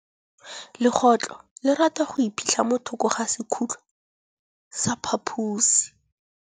Legôtlô le rata go iphitlha mo thokô ga sekhutlo sa phaposi.